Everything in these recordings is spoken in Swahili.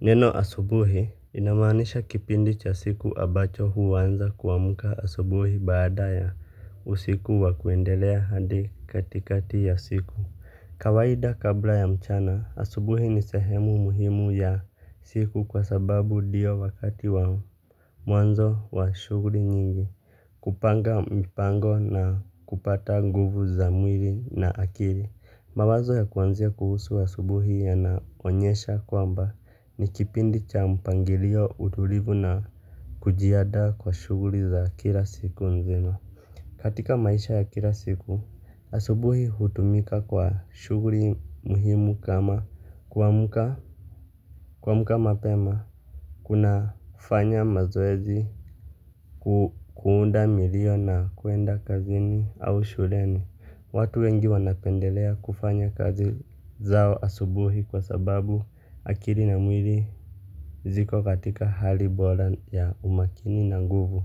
Neno asubuhi inamaanisha kipindi cha siku ambacho huwanza kuamuka asubuhi baada ya usiku wakuendelea hadi katikati ya siku. Kawaida kabla ya mchana asubuhi ni sehemu muhimu ya siku kwa sababu diyo wakati wao mwanzo wa shuguli nyingi. Kupanga mipango na kupata nguvu za mwili na akiri. Mawazo ya kuanzia kuhusu asubuhi yanaonyesha kwamba ni kipindi cha mpangilio utulivu na kujiada kwa shuguli za kila siku nzima. Katika maisha ya kila siku asubuhi hutumika kwa shuguli muhimu kama kuamuka kuamuka mapema. Kuna fanya mazoezi. Kuunda milio na kuenda kazini au shureni. Watu wengi wanapendelea kufanya kazi zao asubuhi kwa sababu akiri na mwili ziko katika hali bola ya umakini na nguvu.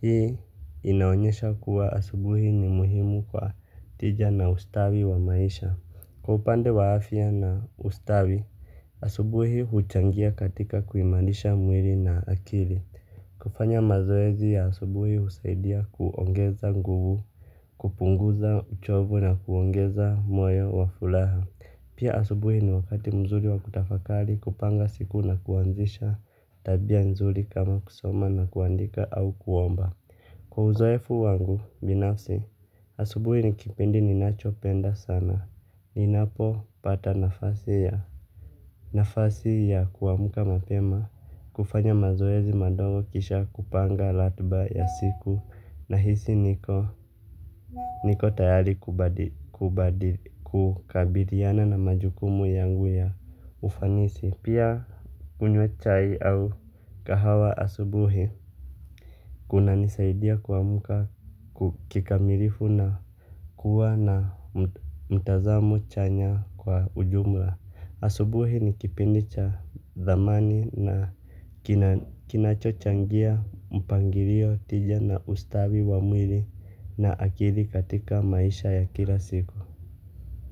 Hii inaonyesha kuwa asubuhi ni muhimu kwa tija na ustawi wa maisha. Kwa upande wa afya na ustawi, asubuhi huchangia katika kuimailisha mwili na akili. Kufanya mazoezi ya asubuhi usaidia kuongeza nguvu, kupunguza uchovu na kuongeza moyo wa fulaha. Pia asubuhi ni wakati mzuri wa kutafakali kupanga siku na kuanzisha tabia nzuri kama kusoma na kuandika au kuomba. Kwa uzoefu wangu, binafsi, asubuhi ni kipindi ninacho penda sana. Ninapo pata nafasi ya nafasi ya kuamuka mapema. Kufanya mazoezi madogo kisha kupanga latba ya siku. Nahisi niko tayari kubadi kukabiliana na majukumu yangu ya ufanisi. Pia unywachai au kahawa asubuhi. Kunanisaidia kuamuka kikamilifu na kuwa na mtazamo chanya kwa ujumla. Asubuhi ni kipindi cha dhamani na kinacho changia mpangilio tija na ustawi wa mwili na akili katika maisha ya kila siku.